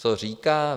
Co říká?